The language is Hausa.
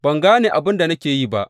Ban gane abin da nake yi ba.